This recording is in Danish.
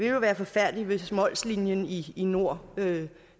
jo være forfærdeligt hvis mols linien i i nord